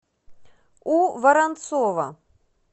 у воронцова